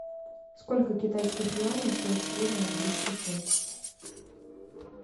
сколько китайских юаней стоит сегодня английский фунт